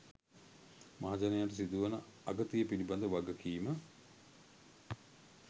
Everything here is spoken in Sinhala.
මහජනයාට සිදුවන අගතිය පිළිබද වගකීම